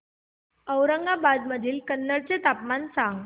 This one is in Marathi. औरंगाबाद मधील कन्नड चे तापमान सांग